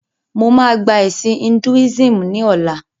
Mo máa gba ẹ̀sìn "Hinduism" ni ọ̀la.